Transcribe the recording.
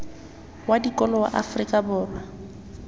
wa dikolo wa afrika borwa